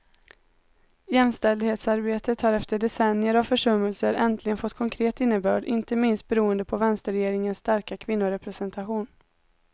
Jämställdhetsarbetet har efter decennier av försummelser äntligen fått konkret innebörd, inte minst beroende på vänsterregeringens starka kvinnorepresentation.